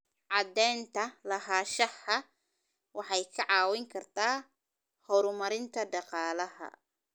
Cadaynta lahaanshaha waxay kaa caawin kartaa horumarinta dhaqaalaha.